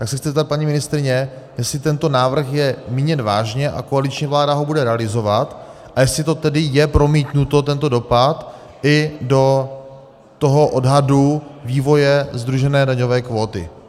Tak se chci zeptat paní ministryně, jestli tento návrh je míněn vážně a koaliční vláda ho bude realizovat a jestli to tedy je promítnuto, tento dopad, i do toho odhadu vývoje sdružené daňové kvóty.